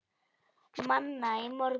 Manna í morgun.